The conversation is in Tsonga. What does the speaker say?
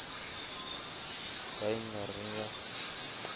ka yi nga ri ya